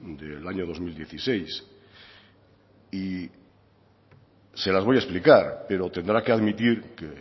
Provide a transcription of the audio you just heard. del año dos mil dieciséis y se las voy a explicar pero tendrá que admitir que